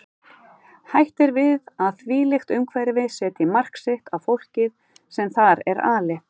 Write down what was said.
Hætt er við að þvílíkt umhverfi setji mark sitt á fólkið sem þar er alið.